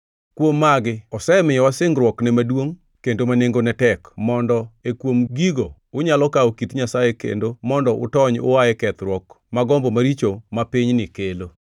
Kuom magi osemiyowa singruokne maduongʼ kendo ma nengogi tek, mondo e kuom gigo unyalo kawo kit Nyasaye kendo mondo utony ua e kethruok ma gombo maricho ma pinyni kelo.